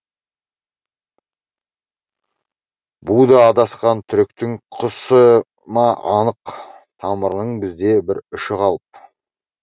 бұ да адасқан түріктің құсы ма анық тамырының бізде бір ұшы қалып